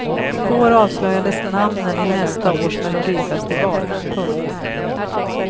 I går avslöjades namnen i nästa års melodifestival. punkt